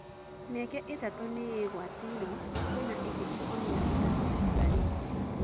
Mĩeke ĩtatũ nĩĩgwatĩirwo na kwĩna ĩngĩ ikũmi na ĩtatũ ĩtigarĩte.